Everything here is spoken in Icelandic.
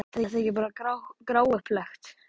Er þetta ekki bara gráupplagt?